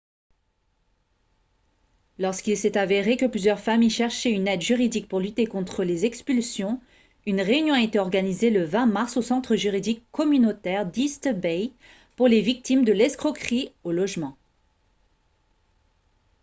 lorsqu'il s'est avéré que plusieurs familles cherchaient une aide juridique pour lutter contre les expulsions une réunion a été organisée le 20 mars au centre juridique communautaire d'east bay pour les victimes de l'escroquerie au logement